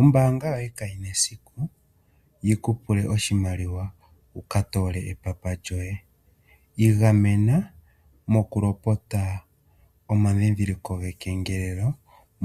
Ombaanga yoye kayina esiku yikupule oshimaliwa wuka toole epapa lyoye. Igamena mokulopota omandhindhiliko gekengelelo